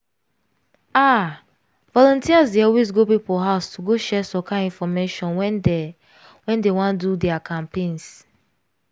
ah! volunteers dey always go people house to go share some kind infomation when dey when dey wan do their campaigns.